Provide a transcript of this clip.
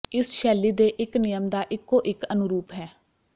ਇਸ ਸ਼ੈਲੀ ਦੇ ਇਕ ਨਿਯਮ ਦਾ ਇਕੋ ਇਕ ਅਨੁਰੂਪ ਹੈ